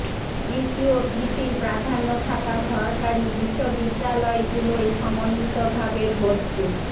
কৃষি ও কৃষির প্রাধান্য থাকা সরকারি বিশ্ববিদ্যালয়গুলোয় সমন্বিতভাবে ভর্তি